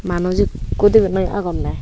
manuj ekko dibi noi agonne.